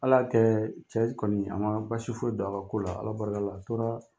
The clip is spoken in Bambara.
Ala kɛ cɛ kɔni a man basi foyi don a ka ko la Ala barika la a tora